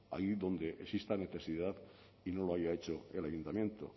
allí donde exista necesidad y no lo haya hecho el ayuntamiento